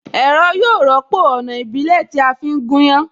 Ẹ̀rọ yóò rọ́pò Ọ̀nà ìbílẹ̀ tí a fi ń gúnyán